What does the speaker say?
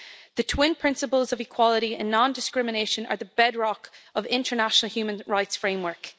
The twin principles of equality and non-discrimination are the bedrock of the international human rights framework.